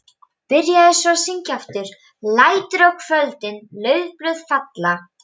Byrjaði svo að syngja aftur: LÆTUR Á KVÖLDIN LAUFBLÖÐ FALLA.